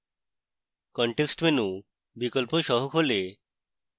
context menu বিকল্প সহ খোলে